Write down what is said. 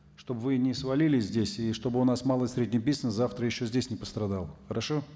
чтобы вы не свалились здесь и чтобы у нас малый и средний бизнес завтра еще здесь не пострадал хорошо